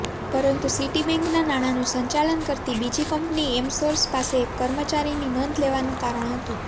પરંતુ સિટીબેન્કનાં નાણાંનું સંચાલન કરતી બીજી કંપની એમસોર્સ પાસે એક કર્મચારીની નોંધ લેવાનું કારણ હતું